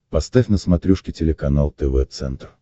поставь на смотрешке телеканал тв центр